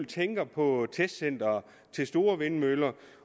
tænker på testcenteret til store vindmøller